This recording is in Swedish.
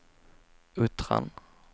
Uttran